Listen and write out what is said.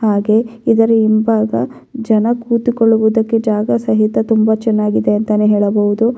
ಹಾಗೆ ಇದರ ಹಿಂಭಾಗ ಜನ ಕೂತುಕೊಳ್ಳುವುದಕ್ಕೆ ಜಾಗ ಸಹಿತ ತುಂಬಾ ಚೆನ್ನಾಗಿದೆ ಅಂತಾನೆ ಹೇಳಬಹುದು.